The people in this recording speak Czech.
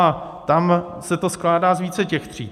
A tam se to skládá z více těch tříd.